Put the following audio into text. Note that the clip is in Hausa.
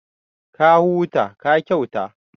Ka huta, ka kyauta